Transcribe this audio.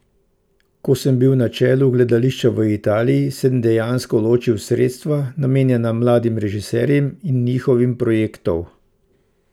Ko sem bil na čelu gledališča v Italiji, sem dejansko ločil sredstva, namenjena mladim režiserjem in njihovim projektov.